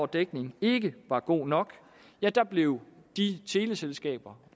dækningen ikke var god nok blev de teleselskaber